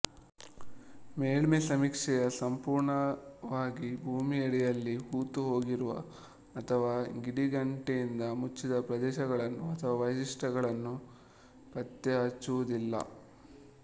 ಮೇಲ್ಮೆ ಸಮೀಕ್ಷೆಯು ಸಂಪೂರ್ಣವಾಗಿ ಭೂಮಿಯಡಿಯಲ್ಲಿ ಹೂತುಹೋಗಿರುವ ಅಥವಾ ಗಿಡಗಂಟೆಯಿಂದ ಮುಚ್ಚಿದ ಪ್ರದೇಶಗಳನ್ನು ಅಥವಾ ವೈಶಿಷ್ಟ್ಯಗಳನ್ನು ಪತ್ತೆಹಚ್ಚುವುದಿಲ್ಲ